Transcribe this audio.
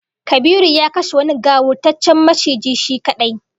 Kabiru ya kashe wani gawurtaccen maciji shi kadai